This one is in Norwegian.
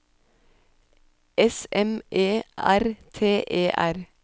S M E R T E R